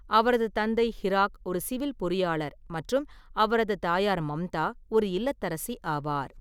அவரது தந்தை ஹிராக் ஒரு சிவில் பொறியாளர்மற்றும் அவரது தாயார் மம்தா ஒரு இல்லத்தரசி ஆவார்.